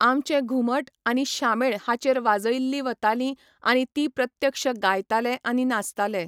आमचें घुमठ आनी शामेळ हाचेर वाजयल्ली वतालीं आनी तीं प्रत्यक्ष गायताले आनी नाचताले.